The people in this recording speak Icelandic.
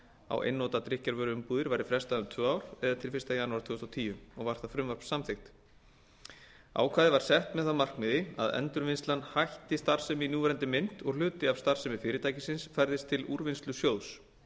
á einnota drykkjarvöruumbúðir væri frestað um tvö ár eða til fyrsta janúar tvö þúsund og tíu og var það frumvarp samþykkt ákvæðið var sett með það að markmiði að endurvinnslan h f hætti starfsemi í núverandi mynd og hluti af starfsemi fyrirtækisins færðist til úrvinnslusjóðs